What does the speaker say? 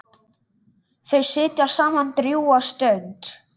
Þau sitja saman drjúga stund.